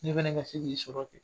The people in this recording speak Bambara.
Ne fana ka se k'i sɔrɔ kɛ